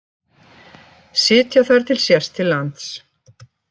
Sitja þar til sést til lands